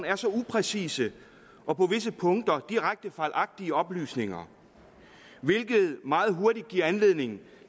er så upræcise og på visse punkter direkte fejlagtige oplysninger hvilket meget hurtigt giver anledning